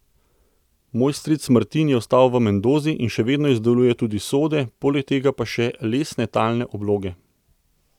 Moj stric Martin je ostal v Mendozi in še vedno izdeluje tudi sode, poleg tega pa še lesne talne obloge.